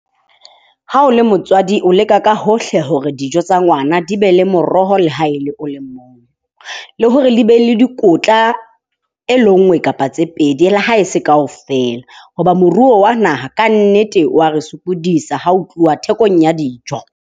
Ha o le motswadi, o leka ka hohle hore dijo tsa ngwana di be le moroho le ha e le o le mong. Le hore di be le dikotla e le nngwe kapa tse pedi le ha e se kaofela. Hoba moruo wa naha kannete wa re sokodisa ho tluwa thekong ya dijo.